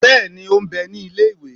bẹẹni o n bẹ ni ile-iwe.